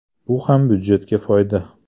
Bu ham budjetga foyda.